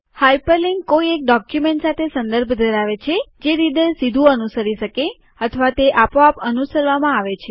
hyperlink કોઈ એક document સાથે સંદર્ભ ધરાવે છે જે રીડર સીધું અનુસરી શકે અથવા તે આપોઆપ અનુસરવામાં આવે છે